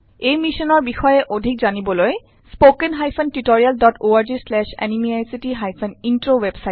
এই মিচন বিষয়ক অধিক information spoken hyphen tutorial dot org slash এনএমইআইচিত হাইফেন ইন্ট্ৰত উপলব্ধ